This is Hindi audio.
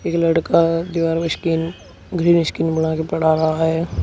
ये लड़का दीवार में स्किन ग्रीन स्किन बना के पढ़ा रहा है।